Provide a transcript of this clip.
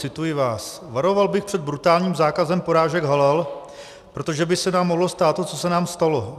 Cituji vás: "Varoval bych před brutálním zákazem porážek halal, protože by se nám mohlo stát to, co se nám stalo.